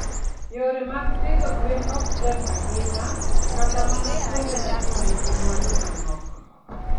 Yore mag pidho gwen ok tek ahinya kata mana kuonde ma ji nigi mwandu manok.